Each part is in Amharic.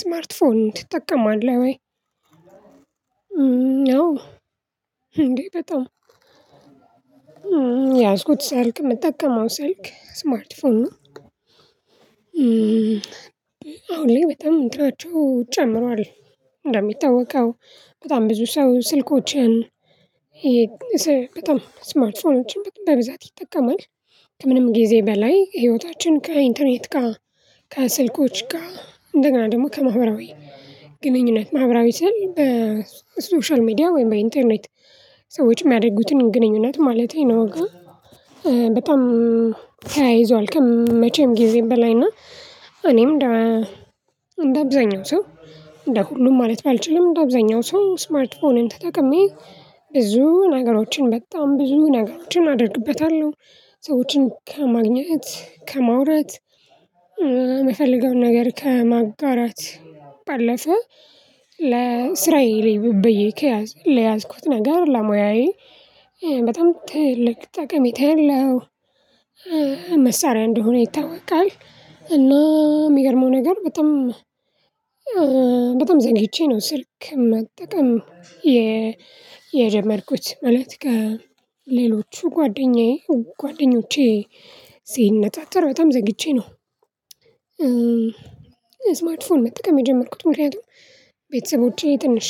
ስማርት ፎን ትጠቀማለህ? ወይ አዎ። እንዴ በጣም ያዝኩት ስልክ የምጠቀመው ስልክ ስማርት ፎርን ነው። አሁን በጣም ምንጭራቸው ጨምሯል። እንደሚታወቀው በጣም ብዙ ሰው ስልኮችን በጣም ስማርት ፎኖችን በብዛት ይጠቀማል። ከምንም ጊዜ በላይ ህይወታችን ከኢንተርኔት ጋር ከስልኮች ጋር እንደገና ደግሞ ከማህበራዊ ግንኙነት ማህበራዊ ስል በሶሻል ሚዲያ ወይም በኢንተርኔት ሰዎች የሚያደርጉትን ግንኙነት ማለቴ ነው ጋር በጣም ተያይዟል። ከመቼም ጊዜ በላይ እና እኔም እንደ እንደ አብዛኛው ሰው እንደ ሁሉም ማለት ባልችልም እንደ አብዛኛው ሰው ስማርት ፎንን ተጠቅሜ ብዙ ነገሮችን በጣም ብዙ ነገሮችን አደርግበታለሁ። ሰዎችን ከማግኘት ከማውራት የምፈልገውን ነገር ከማጣራት ባለፈው ለእስራኤል ይብብዬ ከያዝኩት ነገር ለሙያዬ በጣም ትልቅ ጠቀሜታ የለውም መሳሪያ እንደሆነ ይታወቃል። እና የሚገርመው ነገር በጣም በጣም ዘንግቼ ነው ስልክ መጠቀም የጀመርኩት ማለት ከሌሎቹ ጓደኛዬ ጓደኞቼ ሲነጣጠረው ተምዘግቼ ነው። ስማትፎርም ፎርም መጠቀም የጀመርኩት ምክንያቱም ቤተሰቦቼ ትንሽ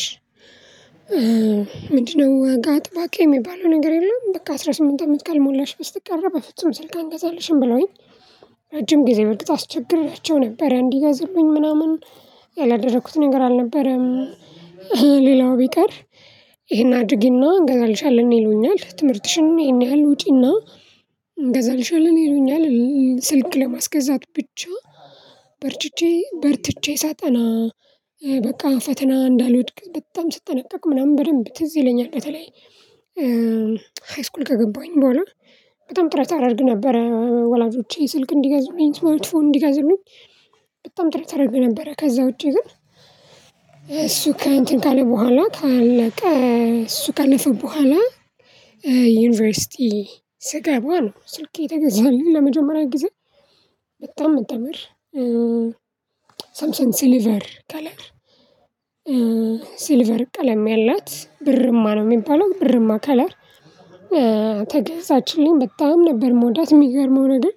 ምንድነው? ዋጋ ጠባቂ የሚባለው ነገር የለም። በቃ አስራ ስምንት አመት ቀን ሞላሽ ብስትቀረብ በፍጹም ስልክ አንገዛለሽም ብለውኝ ረጅም ጊዜ ብልጥ አስቸግራቸው ነበር እንዲህ ጋዝልኝ ምናምን ያላደረኩት ነገር አልነበረም። ሌላው ቢቀር ይሄን አድርጊና እንገዛልሻለን ይሉኛል ትምህርትሽን ይሄን ያህል ውጪና እንገዛልሽልን ይሉኛል። ስልክ ለማስገዛት ብቻ በርችቼ በርትቼ ሳጠና በቃ ፈተና እንዳልወድቅ በጣም ስጠነቀቅ ምናምን በደንብ ትዝ ይለኛል። በተለይ ሃይስኩል ከገባኝ በኋላ በጣም ጥረት አደርግ ነበረ ወላጆቼ ስልክ እንዲገዙኝ ስልትፎ እንዲገዙኝ በጣም ጥርጥር ተረግ ነበረ። ከዛ ውጪ ግን እሱ ከእንትን ከሌለ በኋላ ካለቀ እሱ ከነፈ በኋላ ዩኒቨርሲቲ ስጋ በኋላ ስልኬ ተገዛልኝ። ለመጀመሪያ ጊዜ በጣም ተምር ሰምሰን ሲልቨር ከለር ሲልቨር ቀለም ያላት ብርማ ነው የሚባለው ብርማ ከለር ተገዛችልኝ በጣም ነበር የምወዳት የሚገርመው ነገር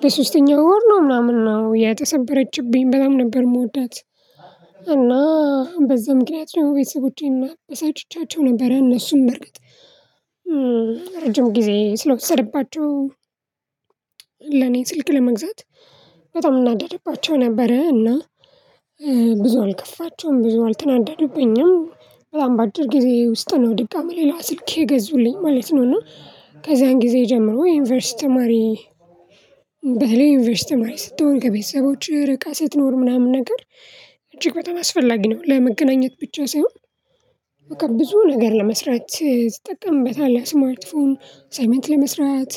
በሶስተኛው ወር ነው ምናምን ነው የተሰበረችብኝ በጣም ነበር የምወዳት። እና በዛ ምክንያት ነው ወይስ ውጪ እና በሳጭቻቸው ነበር እነሱን መርገጥ ረጅም ጊዜ ስለወሰድባቸው ለኔ ስልክ ለመግዛት በጣም እናደርግባቸው ነበረ እና ብዙ አልከፋቸውም ብዙ አልተናደዱብኝም በጣም በአድር ጊዜ ውስጥ ነው ድጋሚ ሌላ ስልኬ ገዙልኝ ማለት ነው። እና ከዛን ጊዜ ጀምሮ ወይ ዩኒቨርሲቲ ተማሪ በተለይ ኢንቨስት ተማሪ ስትሆን ከቤተሰቦችህ ርቀህ ስትኖር ምናምን ነገር እጅግ በጣም አስፈላጊ ነው። ለመገናኘት ብቻ ሳይሆን በቃ ብዙ ነገር ለመስራት ትጠቀምበታለህ ስሞልት ፎም ሳይመንት ለመስራት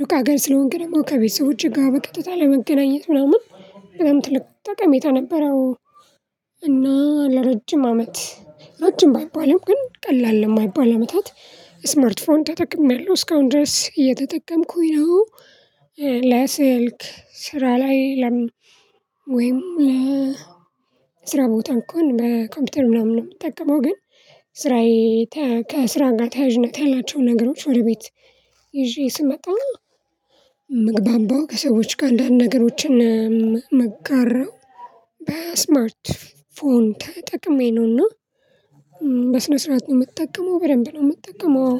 ሩቅ ሀገር ስለሆንክ ደግሞ ከቤት ሰው እጅግ በቀጥታ ለመገናኘት ምናምን በጣም ትልቅ ጠቀሜታ ነበረው። እና ለረጅም አመት ረጅም ባይባልም ግን ቀላል የማይባል አመታት ስማርት ፍሮንድ ተጠቅሜያለሁ እስካሁን ድረስ እየተጠቀምኩኝ ነው። ለስልክ ስራ ላይ ለም ወይም ለ ስራ ቦታ እንኳን በኮምፒውተር ምናምን ነው የምጠቀመው። ግን ስራዬ ከስራ ጋር ተያዥነት ያላቸው ነገሮች ወደ ቤት ይዤ ስመጣኝ ምግባባው ከሰዎች ጋር አንዳንድ ነገሮችን መጋራ መጋራው በስማርት ፎን ተጠቅሜ ነውና። በስነ ስርዓት ነው የምትጠቀመው በደንብ ነው የምትጠቀመው።